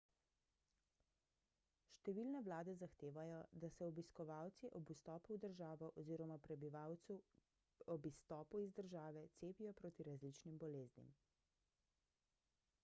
številne vlade zahtevajo da se obiskovalci ob vstopu v državo oziroma prebivalci ob izstopu iz države cepijo proti različnim boleznim